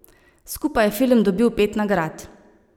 Skupaj je film dobil pet nagrad.